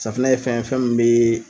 Safunɛ ye fɛn ye fɛn min be